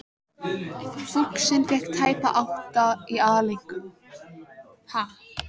Fúxinn fékk tæpa átta í aðaleinkunn.